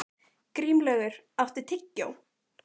Grímlaugur, áttu tyggjó?